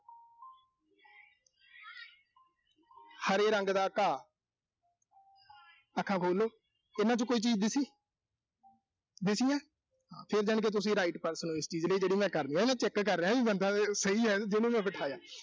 ਹਰੇ ਰੰਗ ਦਾ ਘਾਹ ਅੱਖਾਂ ਖੋਲ੍ਹੋ। ਇਨ੍ਹਾਂ ਚੋਂ ਕੋਈ ਚੀਜ਼ ਦਿਸੀ। ਦਿਸੀ ਨਾ ਅਹ ਫਿਰ ਯਾਨੀ ਕਿ ਤੁਸੀਂ right person ਓਂ ਇਸ ਚੀਜ਼ ਲਈ ਜਿਹੜੀ ਮੈਂ ਕਰ ਰਿਹਾਂ। ਮੈਂ check ਕਰ ਰਿਹਾਂ ਵੀ ਬੰਦਾ, ਸਹੀ ਆ ਨਾ ਅਹ ਜੀਹਨੂੰ ਮੈਂ ਬਿਠਾਇਆ।